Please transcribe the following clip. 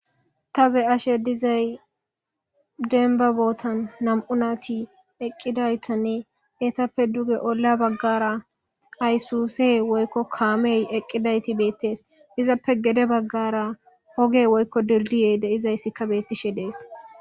Ta be7ashe dizay denba bootan nam7u naati eqqidaytanne eetappe duge olla baggara aysuse woykko kaamey eqqidayti beettees izappe gede baggara hogey woykko dildiye de izayssikka beettishe dees.